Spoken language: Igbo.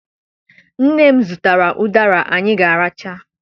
Nne m zụtara ụdara anyị ga-aracha